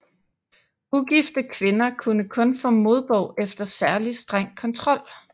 Ugifte kvinder kunne kun få modbog efter særlig streng kontrol